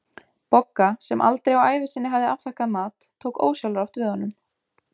Bogga, sem aldrei á ævi sinni hafði afþakkað mat, tók ósjálfrátt við honum.